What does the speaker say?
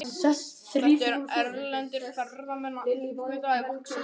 Þetta eru erlendir ferðamenn að uppgötva í vaxandi mæli.